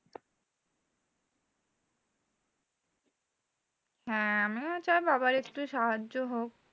হ্যাঁ আমিও চাই বাবার একটু সাহায্য হোক।